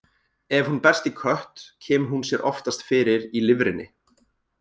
Ef hún berst í kött, kemur hún sér oftast fyrir í lifrinni.